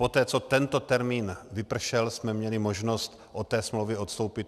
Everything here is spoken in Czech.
Poté co tento termín vypršel, jsme měli možnost od té smlouvy odstoupit.